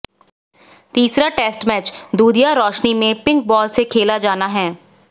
तीसरा test match दूधिया रोशनी में पिंक बॉल से खेला जाना है